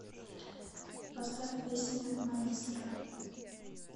поставь песня маэстро